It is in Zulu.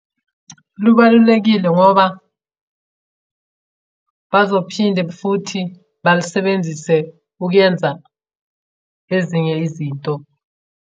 Lubalulekile ngoba bazophinde futhi balisebenzise ukuyenza ezinye izinto.